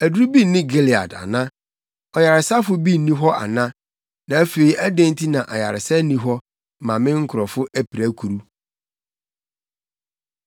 Aduru bi nni Gilead ana? Ɔyaresafo bi nni hɔ ana? Na afei adɛn nti na ayaresa nni hɔ mma me nkurɔfo apirakuru?